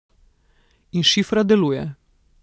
In šifra deluje.